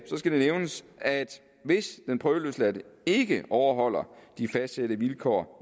nævnes at hvis den prøveløsladte ikke overholder de fastsatte vilkår